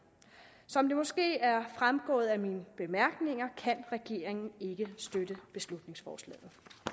som det måske er fremgået af mine bemærkninger kan regeringen ikke støtte beslutningsforslaget